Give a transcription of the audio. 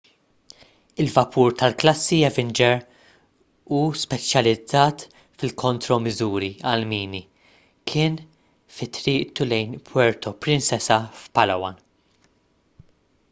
il-vapur tal-klassi avenger u speċjalizzat fil-kontromiżuri għall-mini kien fi triqtu lejn puerto princesa f'palawan